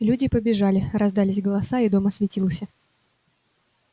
люди побежали раздались голоса и дом осветился